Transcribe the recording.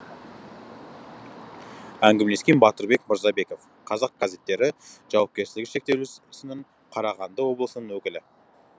әңгімелескен батырбек мырзабеков қазақ газеттері жауапкерлігі шектеулісінің қарағанды облысының өкілі